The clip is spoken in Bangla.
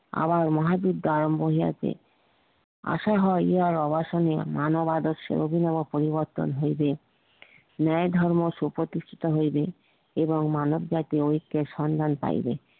আবার মহাবীর আশা হই ইহা অবাঙালিও মানব আদর্শের অভিনব পরিবর্তন হইবে ন্যাই ধর্ম সুপ্রতিষ্ঠিত হইবে এবং মানব জাতি ঐকে এর সন্ধান পাইবে